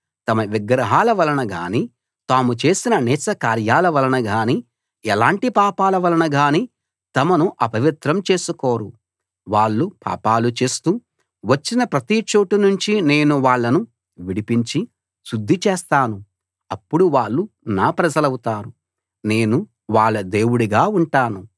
తమ విగ్రహాల వలన గానీ తాము చేసిన నీచకార్యాల వలన గానీ ఎలాంటి పాపాల వలన గానీ తమను అపవిత్రం చేసుకోరు వాళ్ళు పాపాలు చేస్తూ వచ్చిన ప్రతి చోటు నుంచి నేను వాళ్ళను విడిపించి శుద్ధి చేస్తాను అప్పుడు వాళ్ళు నా ప్రజలవుతారు నేను వాళ్ళ దేవుడుగా ఉంటాను